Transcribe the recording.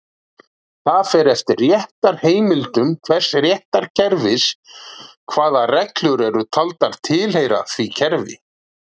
Það fer eftir réttarheimildum hvers réttarkerfis hvaða reglur eru taldar tilheyra því kerfi.